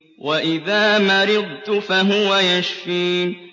وَإِذَا مَرِضْتُ فَهُوَ يَشْفِينِ